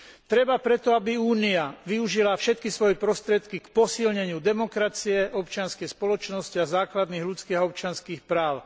Treba preto, aby Únia využila všetky svoje prostriedky na posilnenie demokracie, občianskej spoločnosti a základných ľudských a občianskych práv.